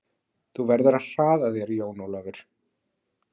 Þú verður að hraða þér Jón Ólafur!